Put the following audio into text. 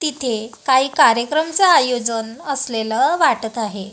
तिथे काही कार्यक्रमच आयोजन असलेलं वाटत आहे.